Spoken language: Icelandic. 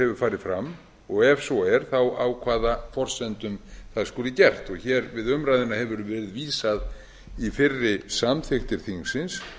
hefur farið fram og ef svo er þá á hvaða forsendum það skuli gert við umræðuna hefur verið vísað í fyrri samþykktir þingsins